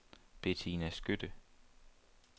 Bettina Skytte